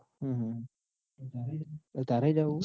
તારે હે જવું હે?